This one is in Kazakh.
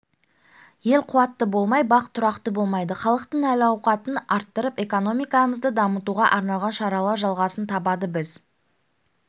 ел қуатты болмай бақ тұрақты болмайды халықтың әл-ауқатын арттырып экономикамызды дамытуға арналған шаралар жалғасын табады біз